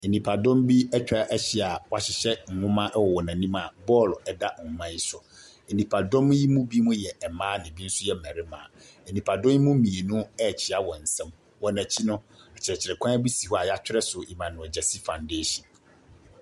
Nnipadɔm bi atwa ahyia wɔahyehyɛ nwoma wɔ wɔn anim a bɔɔlo da akonnwa yi so. Nnipadɔm yi mu bi yɛ mmaa na ebi nso yɛ mmarima. Nnipadɔm yi mu mmienu rekyea wɔn nsam. Wɔn akyi no, akyerɛkyerɛkwan bi si hɔ a yɛatwerɛ so "Emmanuel Gyasi foundation".